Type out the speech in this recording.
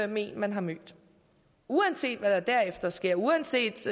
med en man har mødt uanset hvad der derefter sker uanset